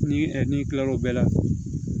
Ni kila lo bɛɛ la